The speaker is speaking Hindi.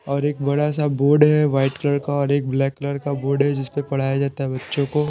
और एक बड़ा सा बोर्ड है वाइट कलर का और एक ब्लैक कलर का बोर्ड है जिस पर पढ़ाया जाता है बच्चों को।